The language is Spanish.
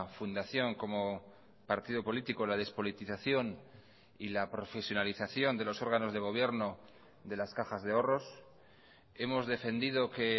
fundación como partido político la despolitización y la profesionalización de los órganos de gobierno de las cajas de ahorros hemos defendido que